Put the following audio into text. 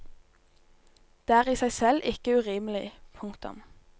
Det er i seg selv ikke urimelig. punktum